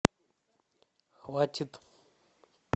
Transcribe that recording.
хватит